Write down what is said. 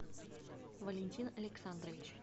валентин александрович